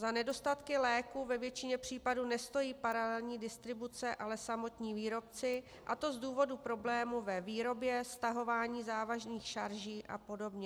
Za nedostatky léků ve většině případů nestojí paralelní distribuce, ale samotní výrobci, a to z důvodu problémů ve výrobě, stahování závažných šarží a podobně.